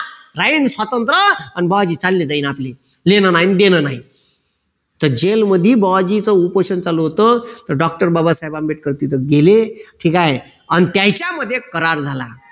राहीन स्वातंत्र अन बुवाजी चालले जाईल आपले घेणं नाही न देणं नाही तर जैलमध्ये बुआजींचं उपोषण चालू होत तर doctor बाबासाहेब आंबेडकर तिथे गेले ठीक आहे अन त्यांच्या मध्ये करार झाला.